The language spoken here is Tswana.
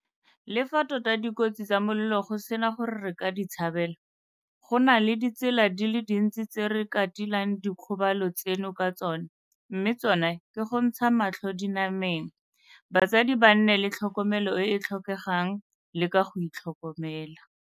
Le fa tota dikotsi tsa molelo go sena gore re ka di tshabela, go na le ditsela di le dintsi tse re ka tilang dikgobalo tseno ka tsona mme tsona ke go ntsha matlho dinameng, batsadi ba nne le tlhokomelo e e tlhokegang le ka go itlhokomela.